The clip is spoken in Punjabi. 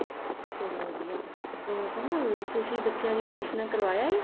ਚਲੋਂ ਵਧੀਆ ਉਹ ਕਮਲ ਤੁਸੀਂ ਬੱਚਿਆ ਦੀਆਂ ਅਡਮੀਸ਼ਨਾ ਕਰਵਾ ਆਏ